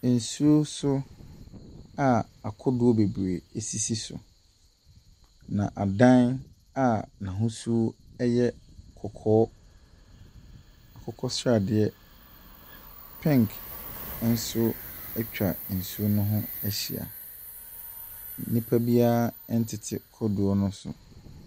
Nsuo so a akodoɔ bebree sisi so, na adan a n'ahosuo yɛ kɔkɔɔ, akokɔ sradeɛ, pink nso atwa nsuo no ho ahyia. Nnipa biara ntete kodoɔ no so.